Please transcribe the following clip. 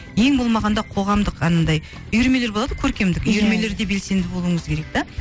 ең болмағанда қоғамдық анандай үйірмелер болады ғой көркемдік үйірмелерде белсенді болуыңыз керек те